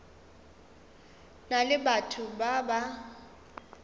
na le batho ba ba